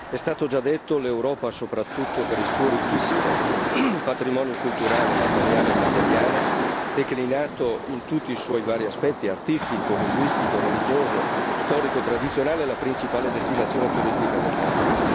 È già stato detto l'Europa, soprattutto per il suo ricchissimo patrimonio culturale, materiale e immateriale, declinato in tutti i suoi vari aspetti artistico, linguistico, religioso, storico, tradizionale è la principale destinazione turistica del mondo.